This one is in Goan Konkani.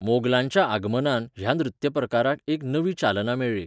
मोगलांच्या आगमनान, ह्या नृत्यप्रकाराक एक नवी चालना मेळ्ळी.